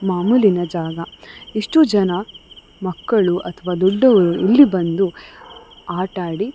ಮಾಮೂಲಿನ ಜಾಗ ಇಷ್ಟು ಜನ ಮಕ್ಕಳು ಅಥವಾ ದೊಡ್ಡವರು ಇಲ್ಲಿ ಬಂದು ಆತ ಆಡಿ --